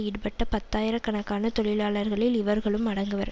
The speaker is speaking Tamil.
ஈடுபட்ட பத்தாயிர கணக்கான தொழிலாளர்களில் இவர்களும் அடங்குவர்